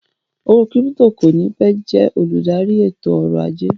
Owó kírípítò kò ní pẹ́ jẹ́ olùdarí ètò ọ̀rọ̀ ajé